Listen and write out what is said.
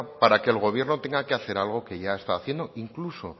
para que el gobierno tenga que hacer algo que ya está haciendo incluso